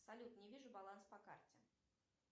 салют не вижу баланс по карте